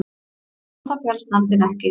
Á það féllst nefndin ekki